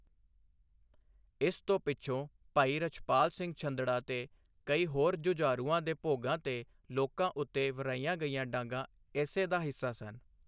ਇਸ ਤੋਂ ਪਿੱਛੋਂ ਭਾਈ ਰਛਪਾਲ ਸਿੰਘ ਛੰਦੜਾਂ ਤੇ ਕਈ ਹੋਰ ਜੁਝਾਰੂਆਂ ਦੇ ਭੋਗਾਂ ਤੇ ਲੋਕਾਂ ਉੱਤੇ ਵਰ੍ਹਾਈਆਂ ਗਈਆਂ ਡਾਂਗਾ ਇਸੇ ਦਾ ਹਿੱਸਾ ਸਨ।